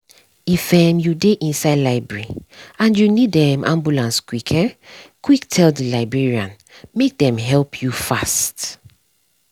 if um you dey inside library and you need um ambulance quick um quick tell the librarian make dem help you fast.